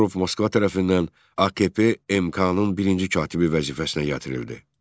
Bağırov Moskva tərəfindən AKP MK-nın birinci katibi vəzifəsinə gətirildi.